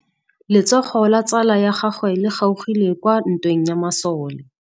Letsôgô la tsala ya gagwe le kgaogile kwa ntweng ya masole.